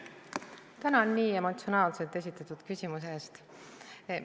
Tänan nii emotsionaalselt esitatud küsimuse eest!